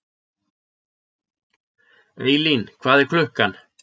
Eylín, hvað er klukkan?